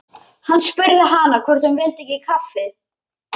Hann spurði hana hvort hún vildi ekki kaffi.